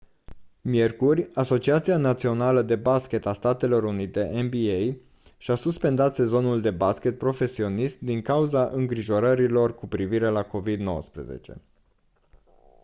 miercuri asociația națională de baschet a statelor unite nba și-a suspendat sezonul de baschet profesionist din cauza îngrijorărilor cu privire la covid-19